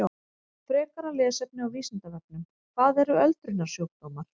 Frekara lesefni á Vísindavefnum: Hvað eru öldrunarsjúkdómar?